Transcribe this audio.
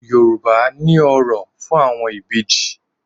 Yorùbá ní òrò fún àwọn Ìbejì.